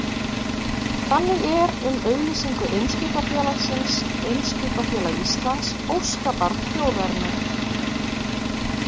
Þannig er um auglýsingu Eimskipafélagsins Eimskipafélag Íslands, óskabarn þjóðarinnar.